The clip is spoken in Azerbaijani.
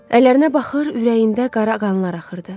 Əllərinə baxır, ürəyində qara qanlar axırdı.